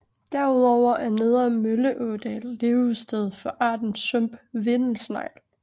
Derudover er nedre Mølleådal levested for arten sump vindelsnegl